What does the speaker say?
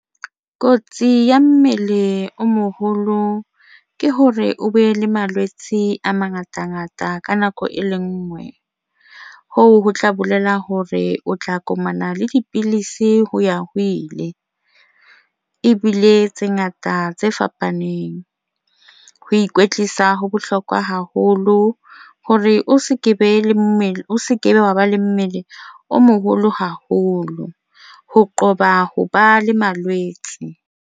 Kotsi ya mmele o moholo ke hore o be le malwetsi a mangatangata ka nako e le ngwe. Hoo ho tla bolela hore o tla kgomana le dipilisi ho ya ho ile ebile tse ngata tse fapaneng. Ho ikwetlisa ho bohlokwa haholo hore o se ke be le mmele o sekebe, wa ba le mmele o moholo haholo. Ho qoba ho ba le malwetsi.